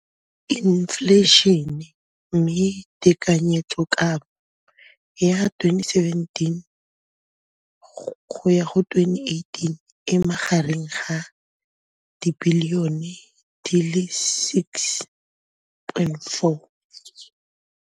Infleišene, mme tekanyetsokabo ya 2017 go ya go 2018 e magareng ga 6.4 bilione.